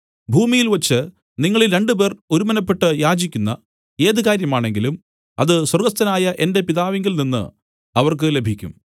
ഭൂമിയിൽവെച്ചു നിങ്ങളിൽ രണ്ടുപേർ ഒരുമനപ്പെട്ട് യാചിക്കുന്ന ഏത് കാര്യമാണെങ്കിലും അത് സ്വർഗ്ഗസ്ഥനായ എന്റെ പിതാവിങ്കൽ നിന്നു അവർക്ക് ലഭിക്കും